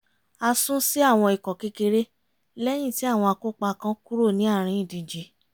a sún sí àwọn ikọ̀ kékeré lẹ́yìn tí àwọn akópa kan kúrò ní àárín ìdíje